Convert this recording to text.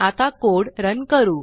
आता code run करू